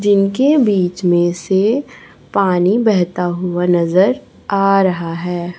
जिनके बीच में से पानी बहता हुआ नजर आ रहा है।